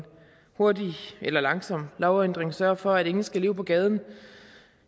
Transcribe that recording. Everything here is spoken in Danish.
hurtig eller langsom lovændring sørge for at ingen skal leve på gaden